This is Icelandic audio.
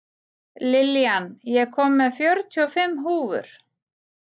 Lillian, ég kom með fjörutíu og fimm húfur!